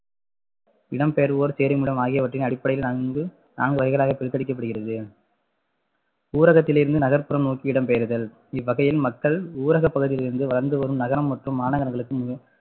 இடம்பெயர்வோர் சேருமிடம் ஆகியவற்றின் அடிப்படையில் அமைந்து நான்கு வகைகளாகப் பிரித்தெடுக்கப்படுகிறது ஊரகத்தில் இருந்து நகர்ப்புறம் நோக்கி இடம் பெயர்தல் இவ்வகையில் மக்கள் ஊரகப்பகுதியில் இருந்து வளர்ந்து வரும் நகரம் மற்றும் மாநகரங்களுக்கு மு~